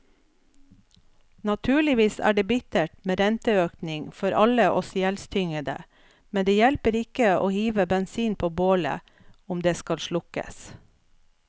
Naturligvis er det bittert med renteøkning for alle oss gjeldstyngede, men det hjelper ikke å hive bensin på bålet om det skal slukkes.